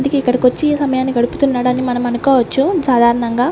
ఇంతకి ఇక్కడకొచ్చి సమయాన్ని గడుపుతున్నాడని మనం అనుకోవచ్చు సాధారణంగా --